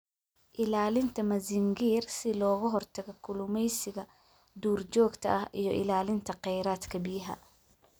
Ilaalinta Mazingir Si looga hortago kalluumeysiga duurjoogta ah iyo ilaalinta kheyraadka biyaha.